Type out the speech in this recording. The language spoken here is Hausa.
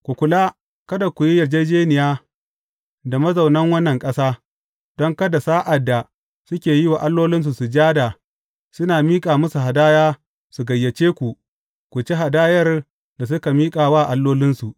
Ku kula, kada ku yi yarjejjeniya da mazaunan wannan ƙasa, don kada sa’ad da suke yi wa allolinsu sujada, suna miƙa musu hadaya, su gayyace ku, ku ci hadayar da suka miƙa wa allolinsu.